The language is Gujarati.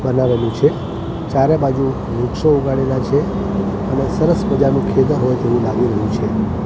બનાવેલું છે ચારે બાજુ વૃક્ષો ઉગાડેલા છે અને સરસ મજાનું ખેતર હોય તેવું લાગી રહ્યું છે.